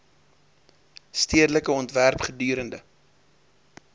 stedelike ontwerp gedurende